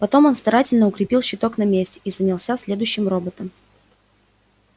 потом он старательно укрепил щиток на месте и занялся следующим роботом